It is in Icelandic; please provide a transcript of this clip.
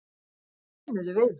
Þau stjönuðu við mig.